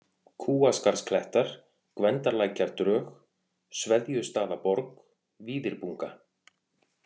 Kúaskarðsklettar, Gvendarlækjardrög, Sveðjustaðaborg, Víðirbunga